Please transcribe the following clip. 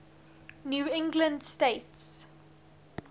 new england states